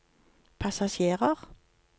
passasjerer